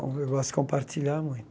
Eu gosto de compartilhar